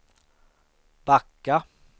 backa